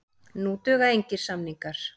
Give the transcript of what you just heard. Nú duga engir samningar.